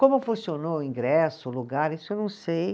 Como funcionou o ingresso, o lugar, isso eu não sei.